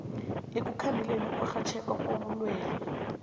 ekukhandeleni ukurhatjheka kobulwele